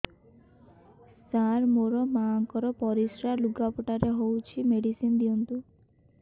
ସାର ମୋର ମାଆଙ୍କର ପରିସ୍ରା ଲୁଗାପଟା ରେ ହଉଚି ମେଡିସିନ ଦିଅନ୍ତୁ